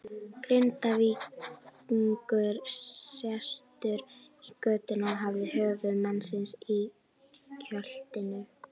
Grindvíkingur sestur í götuna og hafði höfuð manns í kjöltunni.